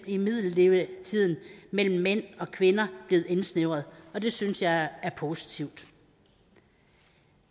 i middellevetiden mellem mænd og kvinder blevet indsnævret og det synes jeg er positivt